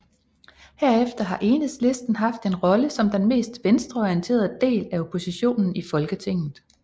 Herefter har Enhedslisten haft en rolle som den mest venstreorienterede del af oppositionen i Folketinget